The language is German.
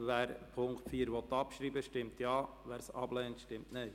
Wer den Punkt 4 abschreiben will, stimmt Ja, wer dies ablehnt, stimmt Nein.